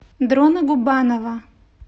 дрона губанова